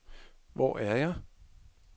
Hvor er jeg